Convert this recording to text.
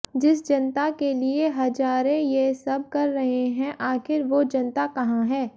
जिस जनता के लिए हजारे ये सब कर रहे हैं आखिर वो जनता कहां है